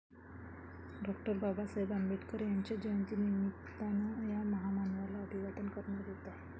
डॉ. बाबासाहेब आंबेडकर यांच्या जयंतीनिमित्तानं या महामानवाला अभिवादन करण्यात येतंय.